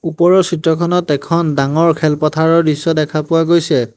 ওপৰৰ চিত্ৰখনত এখন ডাঙৰ খেলপথাৰৰ দৃশ্য দেখা পোৱা গৈছে।